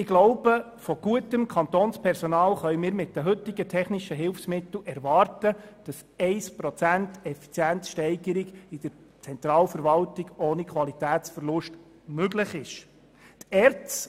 Ich glaube, wir können mit den heutigen technischen Mitteln erwarten, dass eine Effizienzsteigerung von 1 Prozent in der Zentralverwaltung ohne Qualitätsverlust möglich ist.